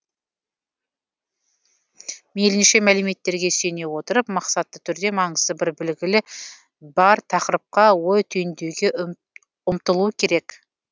мейілінше мәліметтерге сүйене отырып мақсатты түрде маңызы бір білгілі бар тақырыпқа ой түйіндеуге ұмтылу керек